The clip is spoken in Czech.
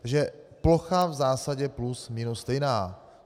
Takže plocha v zásadě plus minus stejná.